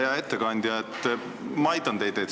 Hea ettekandja, ma aitan teid.